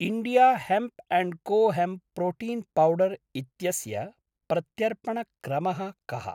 India hemp and co hemp protein powder इत्यस्य प्रत्यर्पणक्रमः कः?